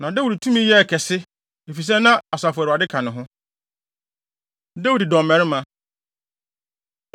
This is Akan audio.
Na Dawid tumi yɛɛ kɛse, efisɛ na Asafo Awurade ka ne ho. Dawid Dɔmmarima